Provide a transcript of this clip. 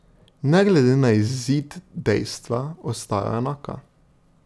Ne glede na izid dejstva ostajajo enaka.